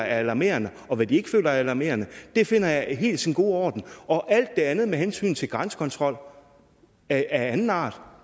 alarmerende og hvad de ikke føler er alarmerende finder jeg er helt i sin gode orden og alt det andet med hensyn til grænsekontrol af anden art